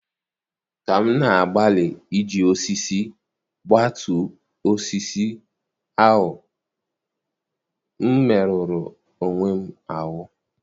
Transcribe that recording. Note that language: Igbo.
Ka m na-agbalị iji osisi gbutu osisi ahụ, m merụrụ onwe m ahụ́.